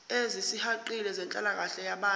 ezisihaqile zenhlalakahle yabantu